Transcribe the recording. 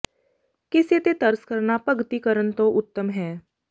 ਕਿਸੇ ਤੇ ਤਰਸ ਕਰਨਾ ਭਗਤੀ ਕਰਨ ਤੋਂ ਉੱਤਮ ਹੈ